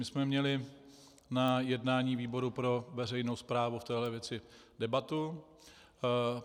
My jsme měli na jednání výboru pro veřejnou správu v této věci debatu.